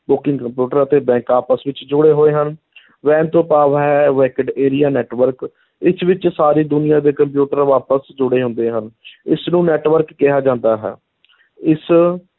Booking computer ਅਤੇ bank ਆਪਸ ਵਿੱਚ ਜੁੜੇ ਹੋਏ ਹਨ WAN ਤੋਂ ਭਾਵ ਹੈ wide area network ਇਸ ਵਿੱਚ ਸਾਰੀ ਦੁਨੀਆਂ ਦੇ ਕੰਪਿਊਟਰ ਆਪਸ 'ਚ ਜੁੜੇ ਹੁੰਦੇ ਹਨ ਇਸ ਨੂੰ network ਕਿਹਾ ਜਾਂਦਾ ਹੈ ਇਸ